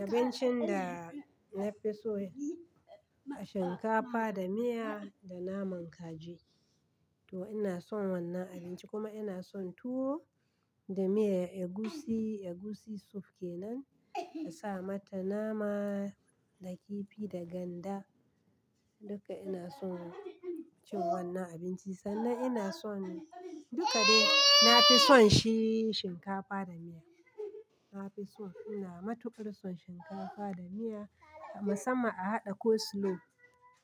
Abincin da na fi so shinkafa da miya da naman kaji. To ina son wannan abinci kuma ina son tuwo da miyar egusi. Egusi soup kenan a sa mata nama da kifi da ganda. Duka ina son cin wannan abinci sannan ina son duka dai. Na fi son shi shinkafa da miya. Na fi so. Ina matuƙar son shinkafa da miya musamman a haɗa coleslaw